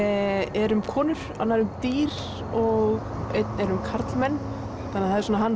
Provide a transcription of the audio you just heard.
er um konur annar um dýr og einn er um karlmenn það er svona hann